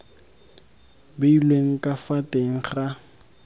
beilweng ka fa teng ga